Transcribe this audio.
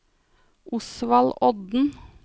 Osvald Odden